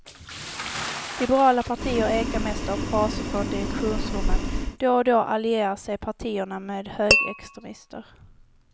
Liberala partier ekar mest av fraser från direktionsrummen, då och då allierar sig partierna med högerextremister.